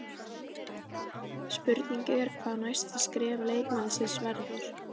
Spurning er hvað næsta skref leikmannsins verður?